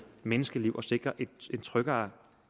menneskeliv og sikre en tryggere